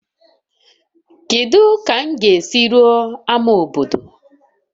Kedu ka m ga-esi ruo ama obodo?